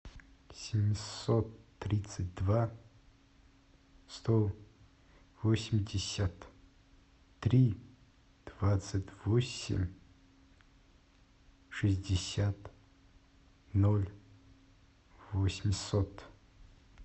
семьсот тридцать два сто восемьдесят три двадцать восемь шестьдесят ноль восемьсот